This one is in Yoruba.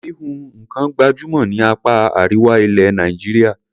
Híhun nǹkan gbàjúmọ̀ ní apá Àríwá ilẹ̀ Nàìjíríà.